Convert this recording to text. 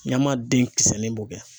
Ɲamaden kisɛnin b'o kɛ.